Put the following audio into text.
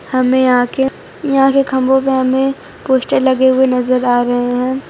हमें यहां के यहां के खंभों पे हमें पोस्टर लगे हुए नजर आ रहे हैं।